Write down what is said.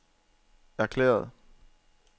erklæret